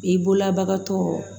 I bolola bagatɔ